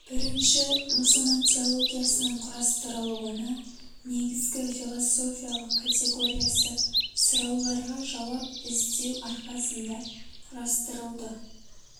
бірінші мұсылман теологиясының құрастырылуына негізгі философиялық категориясы сұрауларға жауап іздеу арқасында құрастырылды